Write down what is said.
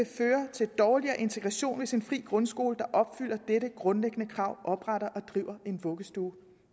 til dårligere integration hvis en fri grundskole der opfylder dette grundlæggende krav opretter og driver en vuggestue